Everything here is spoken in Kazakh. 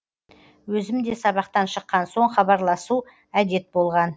өзімде сабақтан шыккан соң хабарласу әдет болған